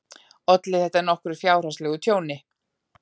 Olli þetta nokkru fjárhagslegu tjóni.